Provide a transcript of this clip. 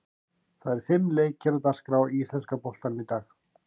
Það eru fimm leikir á dagskrá í íslenska boltanum í dag.